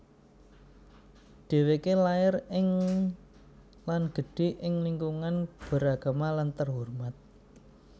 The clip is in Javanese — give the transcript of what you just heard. Dheweke lair ing lan gedhe ing lingkungan beragama lan terhormat